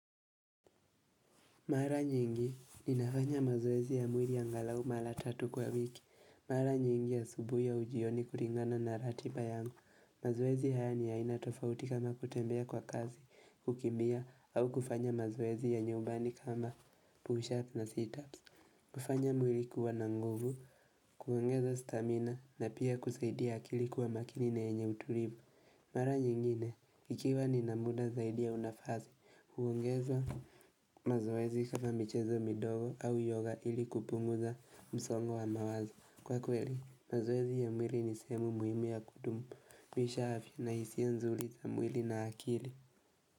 Mara nyingi, ninafanya mazoezi ya mwili angalau mara tatu kwa wiki, mara nyingi asubuhi au jioni kulingana na ratiba yangu, mazoezi haya ni ya aina tofauti kama kutembea kwa kasi, kukimbia, au kufanya mazoezi ya nyumbani kama push-up na sit-ups kufanya mwili kuwa na nguvu, kuongeza stamina, na pia kusaidia akili kuwa makini na yenye utulivu Mara nyingine, ikiwa nina muda zaidi au nafasi, huongeza mazoezi kama michezo midogo au yoga ili kupunguza msongo wa mawazo. Kwa kweli, mazoezi ya mwili ni sehemu muhimu ya kudumisha afya na hisia nzuri za mwili na akili.